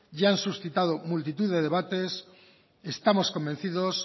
ya han suscitado multitud de debates estamos convencidos